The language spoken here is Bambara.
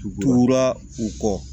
U turura u kɔ